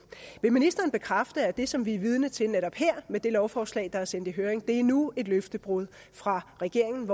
vil ministeren bekræfte at det som vi er vidne til netop her med det lovforslag der er sendt i høring er endnu et løftebrud fra regeringens